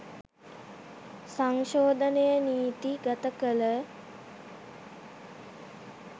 සංශෝධනය නීති ගත කළ